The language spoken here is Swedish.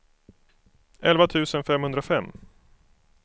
elva tusen femhundrafem